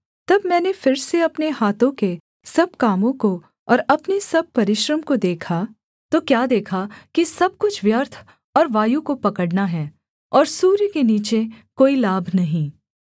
तब मैंने फिर से अपने हाथों के सब कामों को और अपने सब परिश्रम को देखा तो क्या देखा कि सब कुछ व्यर्थ और वायु को पकड़ना है और सूर्य के नीचे कोई लाभ नहीं